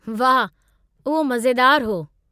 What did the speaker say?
वाह , उहो मज़ेदारु हो।